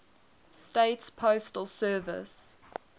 states postal service